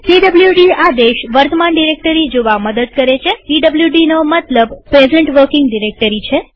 PWD આદેશ વર્તમાન directory જોવા મદદ કરે છેpwd નો મતલબ પ્રેઝન્ટ વર્કિંગ ડિરેક્ટરી છે